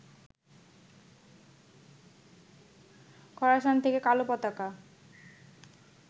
খোরাসান থেকে কালো পতাকা